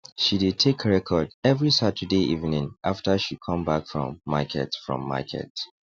she dey take record every saturday evening after she come back from market from market